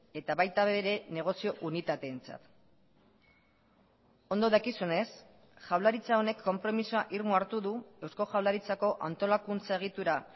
eta baita ere negozio unitateentzat ondo dakizunez jaurlaritza honek konpromisoa irmo hartu du eusko jaurlaritzako antolakuntza egitura